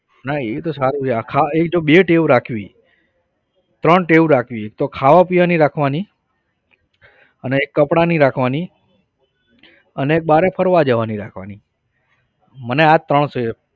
ના એતો સારું છે આખા એ તો બે ટેવ રાખવી ત્રણ ટેવ રાખવી એક તો ખાવાપીવાની રાખવાની અને એક કપડાની રાખવાની અને બારે ફરવા જવાની રાખવાની મને આ ત્રણ છે.